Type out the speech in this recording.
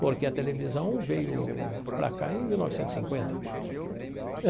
Porque a televisão veio para cá em mil novecentos e cinquenta.